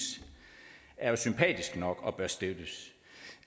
er jo sympatisk nok og bør støttes